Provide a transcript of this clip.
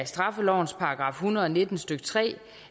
straffelovens § en hundrede og nitten stykke tre